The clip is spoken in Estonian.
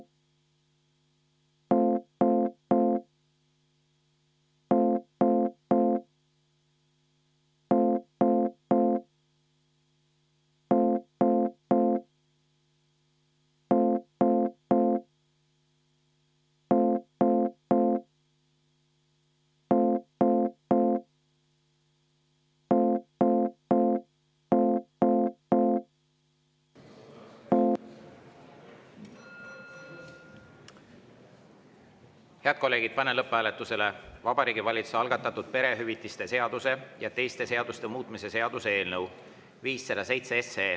Head kolleegid, panen lõpphääletusele Vabariigi Valitsuse algatatud perehüvitiste seaduse ja teiste seaduste muutmise seaduse eelnõu 507.